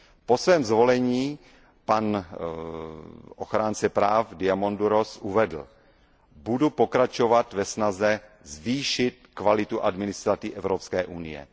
Po svém zvolení ochránce práv Diamandouros uvedl Budu pokračovat ve snaze zvýšit kvalitu administrativy Evropské unie.